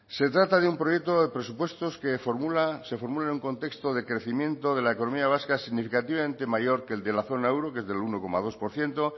se trata de un proyecto de presupuestos que se formula en un contexto de crecimiento de la economía vasca significativamente mayor que el de la zona euro que es del uno coma dos por ciento